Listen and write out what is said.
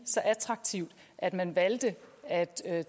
så attraktivt at man valgte at tage